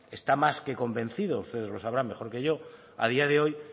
está más que convencidos ustedes lo sabrán mejor que yo a día de hoy